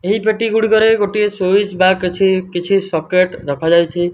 ଏହି ପେଟି ଗୁଡିକରେ ଗୋଟିଏ ସ୍ଵିସ ବା କିଛି କିଛି ସକେଟ ରଖାଯାଇଛି।